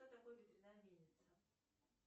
что такое ветряная мельница